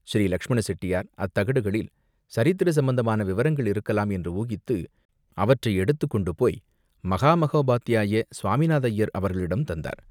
ஸ்ரீ லக்ஷ்மண செட்டியார், அத்தகடுகளில் சரித்திர சம்பந்தமான விவரங்கள் இருக்கலாம் என்று ஊகித்து அவற்றை எடுத்துக் கொண்டுபோய் மகா மகோபாத்தியாய சுவாமிநாத ஐயர் அவர்களிடம் தந்தார்.